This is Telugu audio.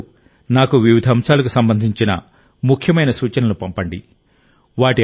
మీరందరూ నాకు వివిధ అంశాలకు సంబంధించిన ముఖ్యమైన సూచనలను పంపండి